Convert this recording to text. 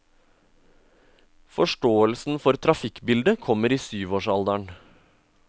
Forståelsen for trafikkbildet kommer i syvårsalderen.